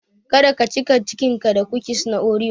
Kada ka cika cikinka da kukis na oreo.